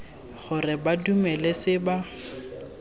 gore ba dumele se ba